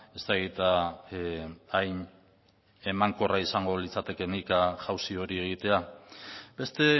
ez dakit hain emankorra izango litzatekeenik jauzi hori egitea beste